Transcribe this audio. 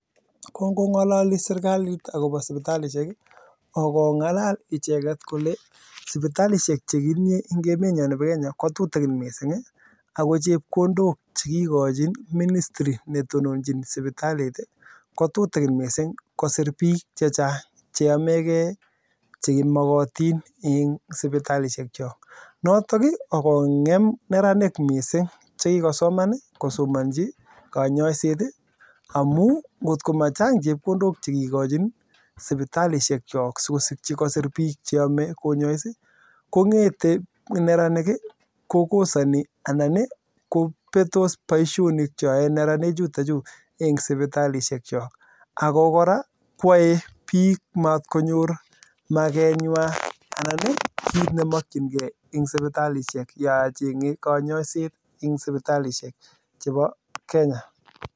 Kongongalali serikalit akoba sibitalishek kongalal icheket Kole sibitalishek chekitinye en emeniyon Nebo Kenya kotutikin mising ako chepkondok chekikokachi ministry netononjin sibitalit kotutikin mising kosir bik chechang cheyamegei cheyamatin en sibitalishek Chok noton akongem neranik mising chekakosomanji kanyaiset amun kotkomachang chepkondok chekikoshin sibitalishek Chok sikosiki kosir bik cheyame konyais kongete neranik kokosani anan kobetos Baishonik chwak en neranik chuton Chu sibitalishek Chok ako koraa kwae bik matkonyor make ywan anan kit nemakin gei en sibitali yachenge kanyaiset en sibitalishek chebo Kenya